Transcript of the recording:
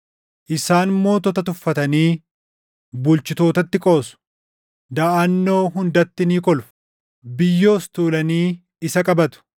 Isaan mootota tuffatanii bulchitootatti qoosu. Daʼannoo hundatti ni kolfu; biyyoos tuulanii isa qabatu.